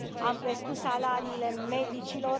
Am crescut salariile medicilor.